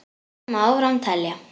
Svo má áfram telja.